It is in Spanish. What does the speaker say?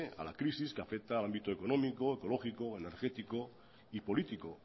a la crisis que afecta al ámbito económico ecológico energético y político